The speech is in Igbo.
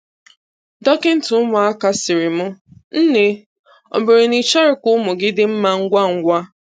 Dọkịta ụmụaka sịrị m "nne, ọ bụrụ na ị chọrọ ka ụmụ gị dị mma ngwangwa